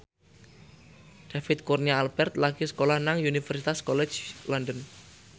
David Kurnia Albert lagi sekolah nang Universitas College London